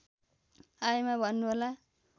आएमा भन्नुहोला